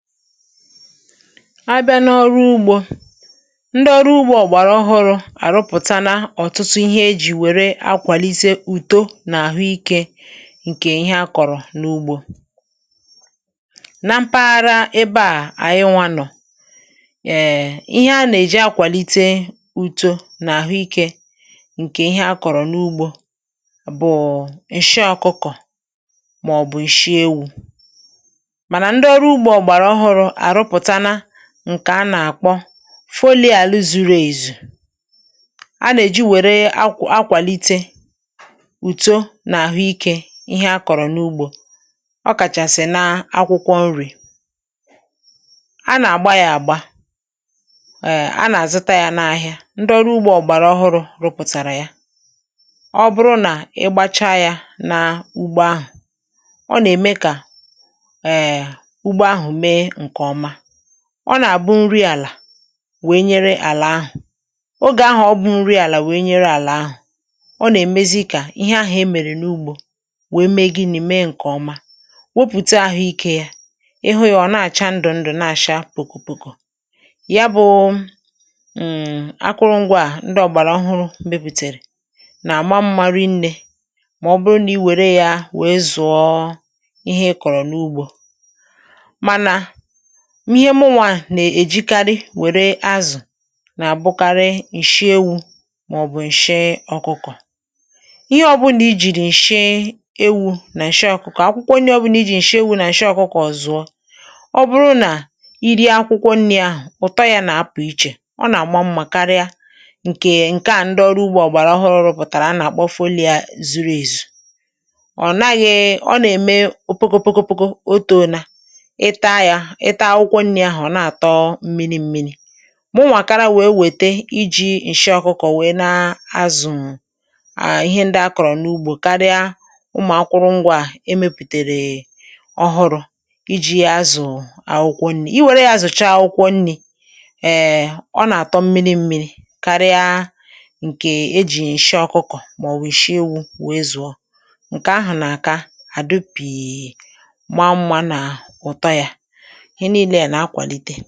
À bịa n’ọrụ ugbò, ndị ọrụ ugbò ọ̀gbàrà ọhụrụ àrụpụ̀tàla na ọ̀tụtụ ihe e jì wèrè akwàlite ùtò n’àhụ́ ike ǹkè ihe a kọ̀rọ̀ n’ugbò na mpaghara ebe à ànyị nwà nọ̀. Ēē, ihe a nà-èji akwàlite ùtò n’àhụ́ ike ǹkè ihe a kọ̀rọ̀ n’ugbò bụ̀ụ̀ ǹshị ọkụkọ̀ màọ̀bụ̀ ǹshị ewu̇, ǹkè a nà-àkpọ foliàlù zuru èzù. A nà-èjikwa wèrè akwàlite ùtò n’àhụ́ ike ihe akọ̀rọ̀ n’ugbò. (hmm)Ọ kàchà sì n’akwụkwọ nri̇ a nà-àgba yà àgba. Ēē, a nà-àzụta yà n’ahìa. Ndị ọrụ ugbò ọ̀gbàrà ọhụrụ̇ rụpụ̀tàrà yà. Ọ bụrụ nà ị gbàcha yà n’ugbò ahụ̀, ọ nà-ème kà ọ nà-àbụ nri àlà wee nyere àlà ahụ̀. N’ogè ahụ̀ ọ bụ nri àlà wee nyere àlà ahụ̀, ọ nà-èmezi kà ihe ahụ̀ emèrè n’ugbò wèe mee gịnị̇? um Mee ǹkè ọma, wopùte ahụ̀ ike yà, hụ́ yà. Ọ̀ na-àcha ndụ̀ ndụ̀, na-àcha pòkòpòkò. Yà bụ̇: ụm̀ akụrụngwà à ndị ọ̀gbàrà ọhụrụ̇ mepùtèrè nà-àma mmȧrị nnė. Mà ọ bụrụ nà i wèrè yà wèe zụ̀ọ ihe ị kọ̀rọ̀ n’ugbò, m̀ ihe mụnwà nà-èjikarị wèrè azụ̀ nà-àbụkarị ǹshị ewu̇ màọ̀bụ̀ ǹshị ọkụkọ̀. Ihe ọbụnà i jìrì ǹshị ewu̇ nà ǹshị ọkụkọ̀, akwụkwọ nye. Ọbụnà i jì ǹshị ewu̇ nà ǹshị ọkụkọ̀, ọzụ̀ọ. Ọ bụrụ nà i rịọ akwụkwọ nri̇ ahụ̀, ụ̀tọ yà nà-apụ̀ iche, ọ nà-àgba mmà karịa ǹkè ǹkè à. (ehm)Ndị ọrụ ugbò ọ̀gbàrà ọhụrụ̇ pụ̀tàrà a nà-àkpọ foliàlù zuru èzù. Ọ̀ naghị̇ ọ; ọ nà-ème opokopokopoko. Nà ǹkè e jì ǹshị ọkụkọ̀ màọ̀bụ̀ ǹshị ewu̇ wèe zụ̀ọ ǹkè ahụ̀, nà-àdopì ǹkẹ̀ ọrụ.